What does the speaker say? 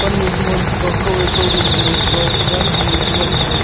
ani chengan taiga kaw wai kawring lo taiga jangthong wai chengan taiga.